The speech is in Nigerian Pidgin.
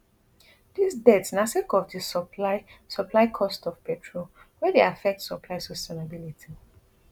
dis debt na sake of di supply supply costs of petrol wey dey affect supply sustainability